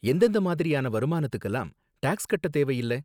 எந்தெந்த மாதிரியான வருமானத்துக்குலாம் டாக்ஸ் கட்ட தேவையில்ல?